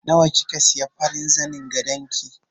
Nawa kika siya farin zanin gadon ki?